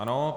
Ano.